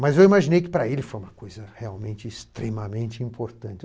Mas eu imaginei que para ele foi uma coisa realmente extremamente importante.